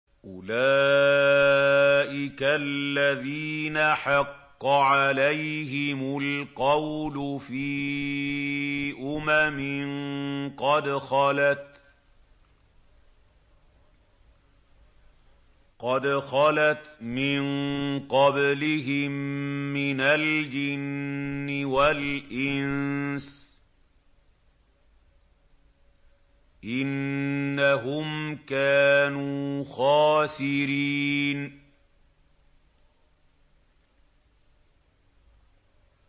أُولَٰئِكَ الَّذِينَ حَقَّ عَلَيْهِمُ الْقَوْلُ فِي أُمَمٍ قَدْ خَلَتْ مِن قَبْلِهِم مِّنَ الْجِنِّ وَالْإِنسِ ۖ إِنَّهُمْ كَانُوا خَاسِرِينَ